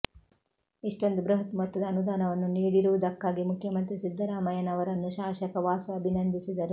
ಇಷ್ಟೊಂದು ಬೃಹತ್ ಮೊತ್ತದ ಅನುದಾನವನ್ನು ನೀಡಿರುವುದಕ್ಕಾಗಿ ಮುಖ್ಯಮಂತ್ರಿ ಸಿದ್ಧರಾಮಯ್ಯನವರನ್ನು ಶಾಸಕ ವಾಸು ಅಭಿನಂದಿಸಿದರು